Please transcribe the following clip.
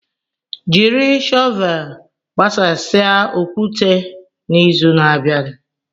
Jiri shọvel gbasasịa okwute n'izu na-abịa.